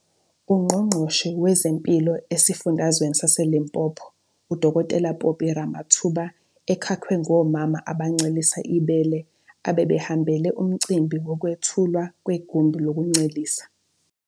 UNgqongqoshe wezeMpilo esiFundazweni saseLimpopo uDkt Phophi Ramathuba ekakwe ngomama abancelisa ibele abebehambele umcimbi wokwethulwa kwegumbi lokuncelisa.